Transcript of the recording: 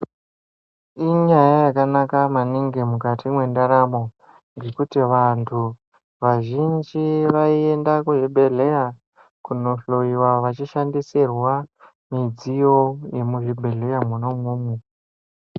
Inyaya yakanaka maningi mukati mwendaramo yekuti vantu vazhinji vaienda kuzvibhedhleya kunohloyiwa vachishandisirwa midziyo yemuzvibhedhleya mwona imwomwo.